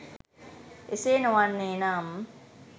එසේ නො වන්නේ නම්